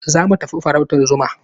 Za mu tafi farautar zuma.